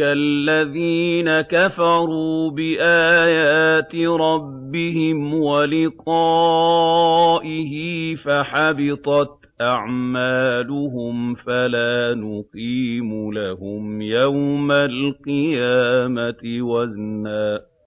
الَّذِينَ كَفَرُوا بِآيَاتِ رَبِّهِمْ وَلِقَائِهِ فَحَبِطَتْ أَعْمَالُهُمْ فَلَا نُقِيمُ لَهُمْ يَوْمَ الْقِيَامَةِ وَزْنًا